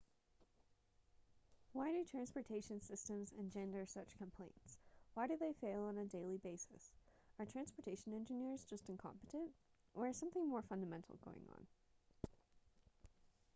why do transportation systems engender such complaints why do they fail on a daily basis are transportation engineers just incompetent or is something more fundamental going on